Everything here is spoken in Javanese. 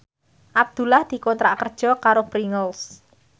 Abdullah dikontrak kerja karo Pringles